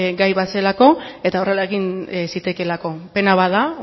gai bat zelako eta horrela egin zitekeelako pena bat da